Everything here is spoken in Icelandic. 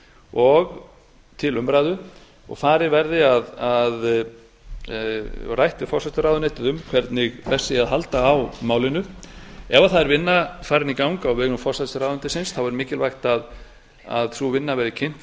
og til umræðu og rætt við forsætisráðuneytið um hvernig best sé að halda á málinu ef vinna er farin í gang á vegum forsætisráðuneytisins þá er mikilvægt að sú vinna verði kynnt